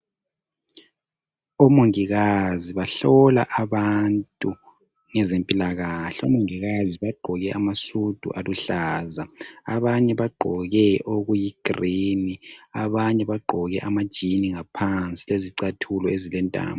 Omongikazi bahlola abantu ngezempilakahle omongikazi bagqoke amasudu aluhlaza abanye bagqoke okuyi green abanye bagqoke ama jean ngaphansi lezicathulo ezilentambo.